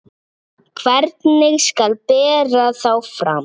Hvernig skal bera þá fram?